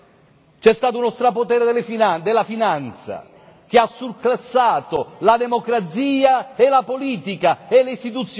C'è stato uno strapotere della finanza che ha surclassato la democrazia, la politica e le istituzioni.